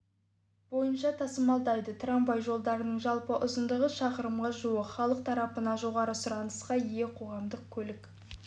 бойынша тасымалдайды трамвай жолдарының жалпы ұзындығы шақырымға жуық халық тарапынан жоғары сұранысқа ие қоғамдық көлік